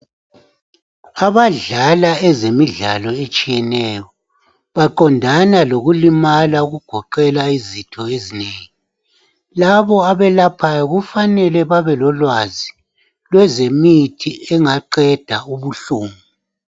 Abadlala ezemidlalo etshiyeneyo baqondana lokulimala okugoqela izitho ezinengi. Labo abelaphayo kufanele babe lolwazi lwezemithi engaqeda ubuhlungu.